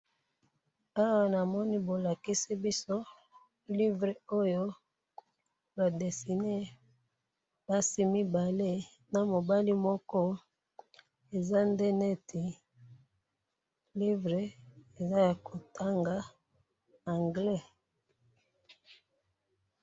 Awa namoni bolakisi biso livre oyo ba dessiner basi mibale na mobali moko eza nde neti livre eza ya ko tanga Anglais